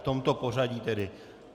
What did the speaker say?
V tomto pořadí tedy.